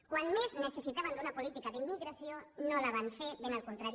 quan més necessitàvem d’una política d’immi·gració no la van fer ben al contrari